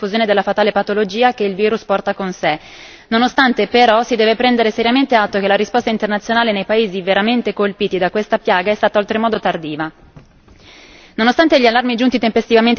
Il resto del mondo è giustamente impegnato a prevenire la diffusione della fatale patologia che il virus porta con sé, però si deve prendere seriamente atto che la risposta internazionale nei paesi veramente colpiti da questa piaga è stata oltremodo tardiva.